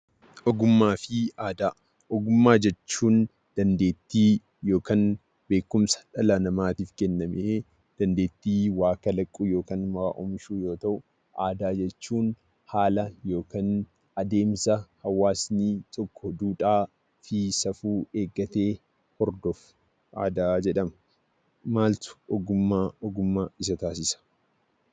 Ogummaa fi aadaa Ogummaa jechuun dandeettii, beekumsa dhala namaatiif kenname ta'ee dandeettii waa kalaquu yookiin waa oomishuu yoo ta'u, aadaa jechuun haala yookiin adeemsa hawaasni tokko duudhaa fi safuu eeggatee hordofu aadaa jedhama. Maaltu ogummaa ogummaa isa taasise?